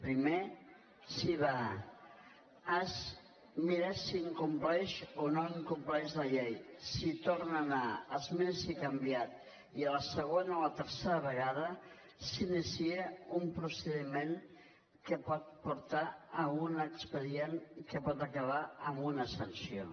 primer s’hi va es mira si incompleix o no incompleix la llei s’hi torna a anar es mira si ho ha canviat i a la segona o a la tercera vegada s’inicia un procediment que pot portar a un expedient i que pot acabar amb una sanció